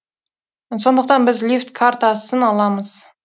сондықтан біз лифт картасын аламыз